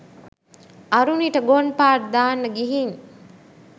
අරුනිට ගොන් පාට් දාන්න ගිහින්